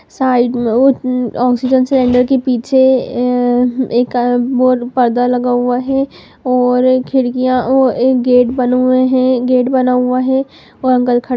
side में ओ oxygen cylinder के पीछे ह एक पर्दा लगा हुआ है और खिड़कियाँ और एक गेट बने हुए हैं गेट बना हुआ है और अंकल खड़े --